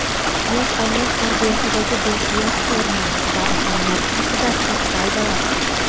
yosh avlod tarbiyasidagi beqiyos o‘rni va ahamiyati haqida to‘xtaldilar.